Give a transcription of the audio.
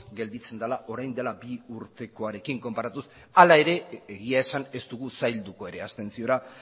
gelditzen dela orain dela bi urtekoarekin konparatuz hala ere egia esan ez dugu sailduko ere abstentziora